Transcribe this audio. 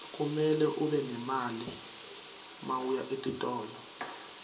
kumele ube nemali mawuya etitolo